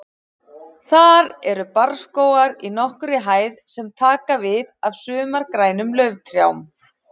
Þar eru barrskógar í nokkurri hæð sem taka við af sumargrænum lauftrjám.